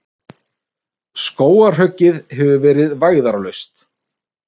Skógarhöggið hefur verið vægðarlaust.